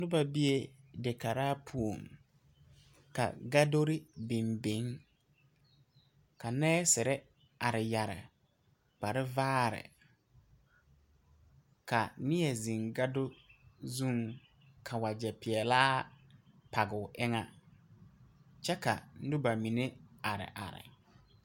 Noba bee dekaraa puo ka gadore biŋ biŋ ka nɛɛsere are yɛre kpare vaare ka neɛ zeŋ gado zuŋ ka wagyɛ peɛlaa page o eŋa kyɛ ka neba mine are are.